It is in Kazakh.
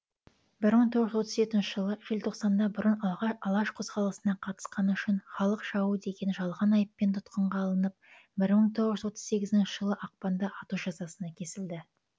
бір мың тоғыз жүз отыз жетінші жылы желтоқсанда бұрын алаш қозғалысына қатысқаны үшін халық жауы деген жалған айыппен тұтқынға алынып бір мың тоғыз жүз отыз сегізінші жылы ақпанда ату жазасына кесілді